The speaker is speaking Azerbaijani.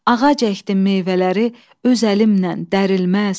Ağac əkdim meyvələri öz əlimnən dərilməz.